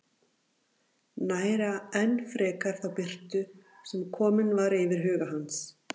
Næra enn frekar þá birtu sem komin var yfir huga hans.